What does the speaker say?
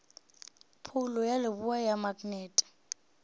phoulo ya leboa ya maknete